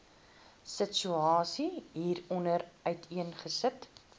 situasie hieronder uiteengesit